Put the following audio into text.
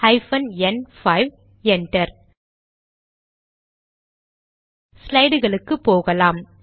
hyphen n 5 enter ஸ்லைடுகளுக்கு போகலாம்